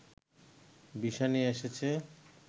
visa নিয়ে এসেছে